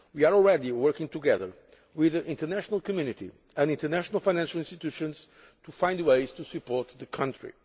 We are already working together with the international community and international financial institutions to find ways to support the country.